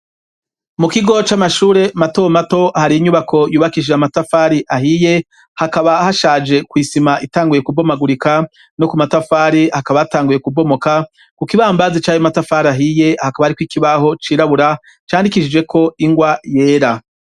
Mu kigo c'amashure mato mato hari inyubako yubakishije amatafari ahiye hakaba hashaje kw' isima itanguye kubomagurika no ku matafari hakaba hatanguye kubomoka ku kibambazi cayo matafari ahiye hakaba hariko ikibaho cirabura candikishijeko ingwa yera.